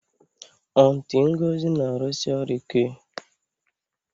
Aunty Ngozi na-arụsi ọrụ ike